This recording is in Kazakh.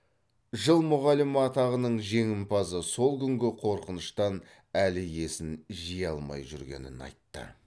жыл мұғалімі атағының жеңімпазы сол күнгі қорқыныштан әлі есін жия алмай жүргенін айтты